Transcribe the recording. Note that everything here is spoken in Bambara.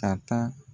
Ka taa